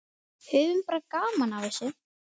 Höfum bara gaman af þessu.